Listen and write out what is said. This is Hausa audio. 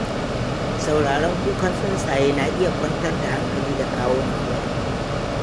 Sauraron kukan tsuntsaye na iya kwantar da hankali da kawo natsuwa.